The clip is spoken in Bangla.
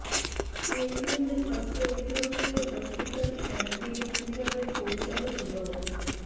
এরই মধ্যে স্বাস্থ্য অধিদফতরের হসপিটাল অ্যান্ড ক্লিনিকস বিভাগের পরিচালক ড